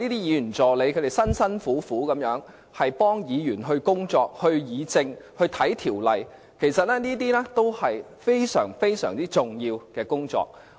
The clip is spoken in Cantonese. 議員助理辛勤工作，協助議員工作、議政、翻查條例，這都是非常重要的工作。